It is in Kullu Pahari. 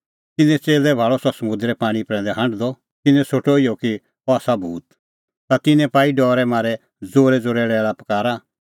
तिन्नैं च़ेल्लै भाल़अ सह समुंदरे पाणीं प्रैंदै हांढदअ तिन्नैं सोठअ इहअ कि अह आसा भूत ता तिन्नैं पाई डरै मारै ज़ोरैज़ोरै लैल़ापकारा